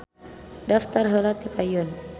Daftar heula di payun